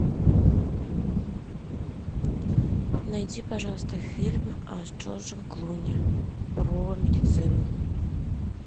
найди пожалуйста фильм с джорджем клуни про медицину